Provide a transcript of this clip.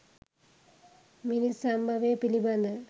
මිනිස් සම්භවය පිළිබඳ